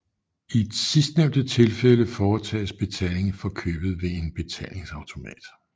I sidstnævnte tilfælde foretages betaling for købet ved en betalingsautomat